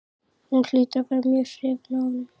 Hún hlýtur að vera mjög hrifin af honum.